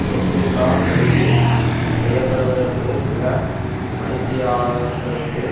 பொன்சேகா கைது செய்ய படுவதற்கு சில மணி தியாலங்களுக்கு